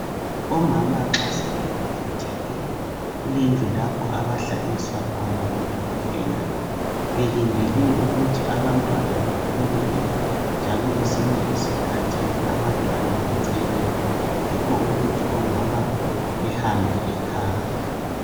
Omama nxa sebebelethile kulendlu lapho abahlaliswa khona ngodokotela belindele ukuthi abantwana bephumele njalo kwesinye isikhathi abantwana becheme yikho ukuthi omama behambe ekhaya.